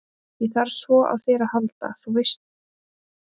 Ég þarf svo á þér að halda, þú veist það vel.